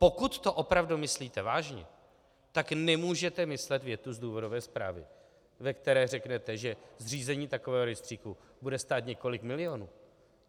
Pokud to opravdu myslíte vážně, tak nemůžete myslet větu z důvodové zprávy, ve které řeknete, že zřízení takového rejstříku bude stát několik milionů.